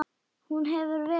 Hún hefur verið í öðru.